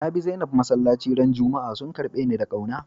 Na bi Zainab masallaci ran Juma'a, sun karbe ni da kauna.